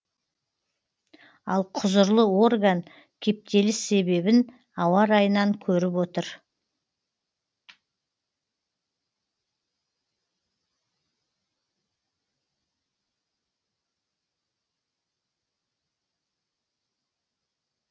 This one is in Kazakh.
ал құзырлы орган кептеліс себебін ауа райынан көріп отыр